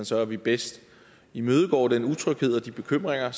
så at vi bedst imødegår den utryghed og de bekymringer